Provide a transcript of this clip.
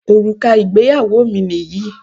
Òrùka ìgbéyàwó mi nìyí